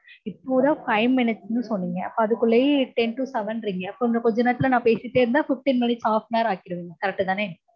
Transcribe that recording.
இப்போதா five minutes னு சொன்னீங்க. அப்போ அதுக்குள்ளயே ten to seven றீங்க. அப்போ இன்னும் கொஞ்சம் நேரத்தில நா பேசிட்டே இருந்தா fifteen minutes half an hour ஆக்கிருவீங்க. correct தானே?